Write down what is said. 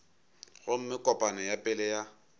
gomme kopano ya pele ya